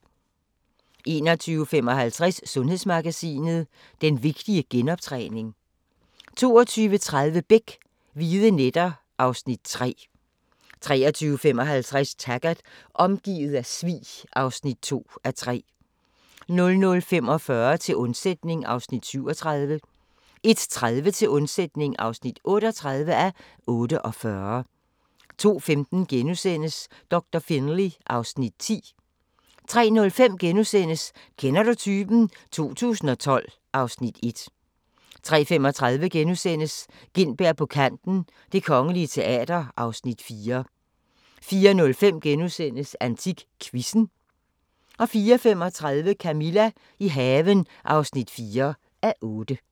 21:55: Sundhedsmagasinet: Den vigtige genoptræning 22:30: Beck: hvide nætter (Afs. 3) 23:55: Taggart: Omgivet af svig (2:3) 00:45: Til undsætning (37:48) 01:30: Til undsætning (38:48) 02:15: Doktor Finlay (Afs. 10)* 03:05: Kender du typen? 2012 (Afs. 1)* 03:35: Gintberg på kanten - Det Kongelige Teater (Afs. 4)* 04:05: AntikQuizzen * 04:35: Camilla – i haven (4:8)